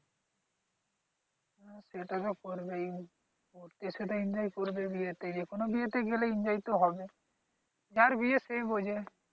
সে তো সব করবেই গেছো তো enjoy করবেই বিয়েতে। যে কোন বিয়েতে গেলে enjoy তো হবেই। যার বিয়ে সে বুঝে।